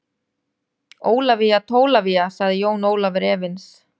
Ólafía Tólafía, sagði Jón Ólafur efins.